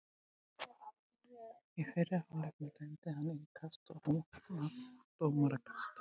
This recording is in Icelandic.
Í fyrri hálfleik dæmdi hann innkast en núna dómarakast.